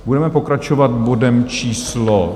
Budeme pokračovat bodem číslo